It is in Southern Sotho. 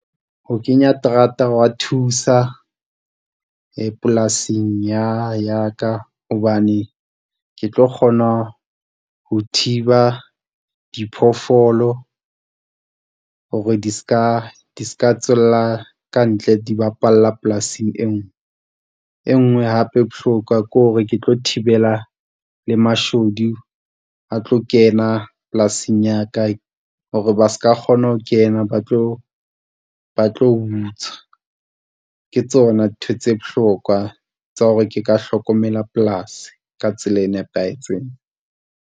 Ho kenya terata hwa thusa polasing ya ka hobane ke tlo kgona ho thiba diphoofolo hore di ska, tswela ka ntle di bapalla polasing e nngwe. E nngwe hape e bohlokwa ke hore ke tlo thibela le mashodu a tlo kena polasing ya ka. Hore ba ska kgona ho kena, ba tlo ba tlo butswa. Ke tsona ntho tse bohlokwa tsa hore ke ka hlokomela polasi ka tsela e nepahetseng.